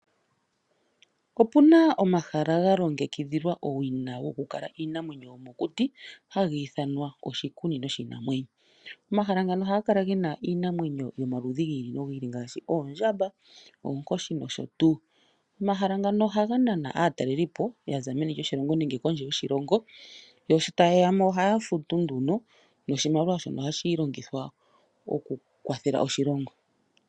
Opuna omahala ga longekidhilwa owina gokukala iinamwenyo yomokuti hagi ithanwa oshikunino shiinamwenyo. Omahala ngano ohaga kala gena iinamwenyo yomaludhi gi ili nogi ili ngaashi oondjamba, oonkoshi nosho tuu. Omahala ngano ohaga nana aatalelipo yaza meni lyoshilongo nenge kondje yoshilongo, yo sho taye ya mo ohaya futu nduno noshimaliwa shono ohashi longithwa okukwathela oshilongo.